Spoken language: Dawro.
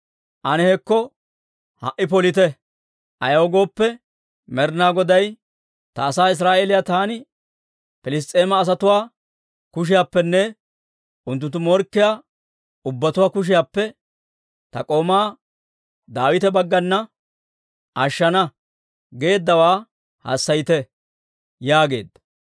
ane hekko ha"i polite! Ayaw gooppe, Med'inaa Goday, ‹Ta asaa Israa'eeliyaa, taani Piliss's'eema asatuwaa kushiyaappenne unttunttu morkkiyaa ubbatuwaa kushiyaappe ta k'oomaa Daawita baggana ashshana› geeddawaa hassayite» yaageedda.